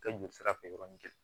Kɛ joli sira fɛ yɔrɔnin kelen